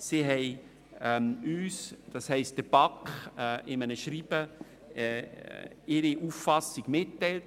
Diese hat uns, das heisst der BaK, in einem Schreiben ihre Auffassung mitgeteilt.